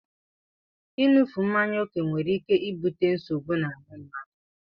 Ịṅufe mmanya oke nwere ike ibute nsogbu na ahụ mmadụ.